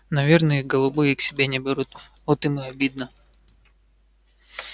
наверное их голубые к себе не берут вот им и обидно